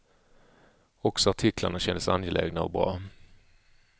Också artiklarna kändes angelägna och bra.